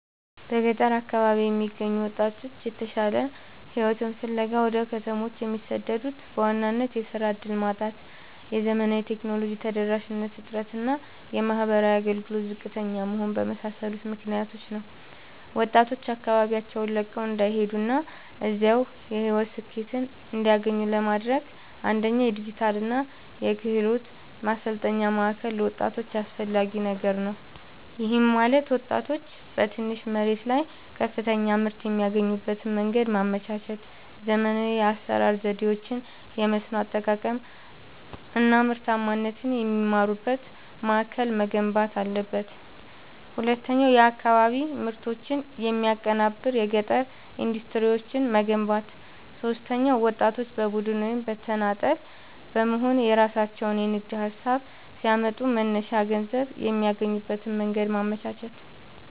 በገጠር አካባቢዎች የሚገኙ ወጣቶች የተሻለ ሕይወትን ፍለጋ ወደ ከተሞች የሚሰደዱት በዋናነት የሥራ ዕድል ማጣት፣ የዘመናዊ ቴክኖሎጂ ተደራሽነት እጥረት እና የማኅበራዊ አገልግሎቶች ዝቅተኛ መሆን በመሳሰሉ ምክኒያቶች ነው። ወጣቶች አካባቢያቸውን ለቀው እንዳይሄዱና እዚያው የሕይወት ስኬትን እንዲያገኙ ለማድረግ፣ አንደኛ የዲጂታልና የክህሎት ማሠልጠኛ ማእከል ለወጣቶች አስፈላጊ ነገር ነው። ይህም ማለት ወጣቶች በትንሽ መሬት ላይ ከፍተኛ ምርት የሚያገኙበትን መንገድ ማመቻቸት፣ ዘመናዊ የአሠራር ዘዴዎችን፣ የመስኖ አጠቃቀም አናምርታማነትን የሚማሩበት ማእከል መገንባት አለበት። ሁለተኛው የአካባቢ ምርቶችን የሚያቀናብር የገጠር ኢንዱስትሪዎችን መገንባት። ሦስተኛው ወጣቶች በቡድን ወይም በተናጠል በመሆንየራሣቸውን የንግድ ሀሳብ ሲያመጡ መነሻ ገንዘብ የሚያገኙበትን መንገድ ማመቻቸት።